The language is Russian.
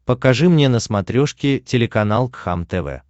покажи мне на смотрешке телеканал кхлм тв